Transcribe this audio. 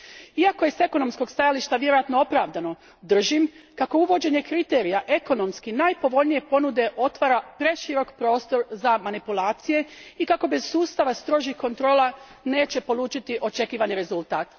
Iako je s ekonomskog stajališta vjerojatno opravdano, držim kako uvođenje kriterija ekonomski najpovoljnije ponude otvara preširok prostor za manipulacije i kako bez sustava strožih kontrola neće polučiti očekivani rezultat.